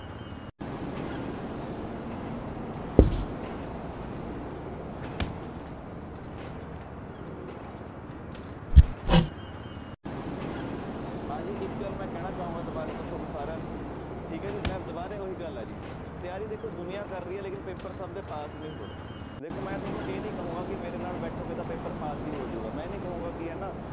ਹਾਂਜੀ ਇੱਕ ਗੱਲ ਮੈਂ ਕਹਿਣਾ ਚਾਹਾਂਗਾ ਦੁਬਾਰਾ ਤੋਂ ਤੁਹਾਨੂੰ ਸਾਰਿਆਂ ਨੂੰ ਠੀਕ ਹੈ ਜੀ ਮੈਂ ਦੁਬਾਰੇ ਉਹੀ ਗੱਲ ਹੈ ਜੀ ਤਿਆਰੀ ਦੇਖੋ ਦੁਨੀਆਂ ਕਰ ਰਹੀ ਹੈ ਲੇਕਿੰਨ ਪੇਪਰ ਸਭ ਦੇ ਪਾਸ ਨੀ ਹੋ ਰਹੇ ਦੇਖੋ ਮੈਂ ਤੁਹਾਨੂੰ ਇਹ ਨੀ ਕਹਾਂਗਾ ਕਿ ਮੇਰੇ ਨਾਲ ਬੈਠੋਗੇ ਤਾਂ ਪੇਪਰ ਪਾਸ ਹੀ ਹੋ ਜਾਊਗਾ ਮੈਂ ਨੀ ਕਹਾਂਗਾ ਕਿ ਹਨਾ